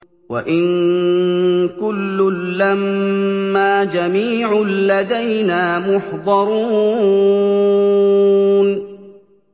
وَإِن كُلٌّ لَّمَّا جَمِيعٌ لَّدَيْنَا مُحْضَرُونَ